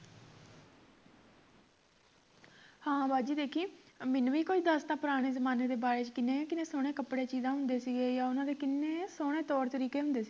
ਹਾਂ ਬਾਜੀ ਵੇਖੀਂ ਮੈਨੂੰ ਵੀ ਕੋਈ ਦਸ ਖਾਂ ਪੁਰਾਣੇ ਜਮਾਨੇ ਦੇ ਬਾਰੇ ਚ ਕਿੰਨੇ ਕਿੰਨੇ ਸੋਹਣੇ ਕਪੜੇ ਤੇ ਚੀਜ਼ਾਂ ਹੁੰਦੇ ਸੀ ਗੇ ਯਾ ਓਹਨਾ ਦੇ ਕਿੰਨੇ ਸੋਹਣੇ ਤੌਰ ਤਰੀਕੇ ਹੁੰਦੇ ਸੀ ਗੇ